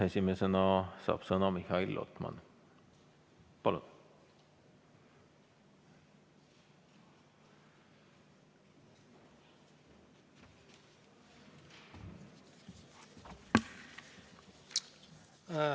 Esimesena saab sõna Mihhail Lotman, palun!